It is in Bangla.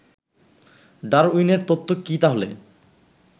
ডারউইনের তত্ত্ব কি তাহলে